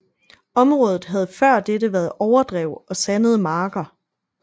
Området havde før dette været overdrev og sandede marker